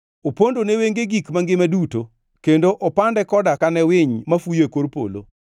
Opondo ne wenge gik mangima duto, kendo opande koda kane winy mafuyo e kor polo.